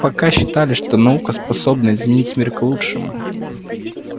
пока считали что наука способна изменить мир к лучшему